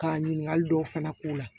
Ka ɲininkali dɔw fana k'u la